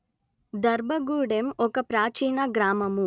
దర్భగూడెం ఒక ప్రాచీన గ్రామము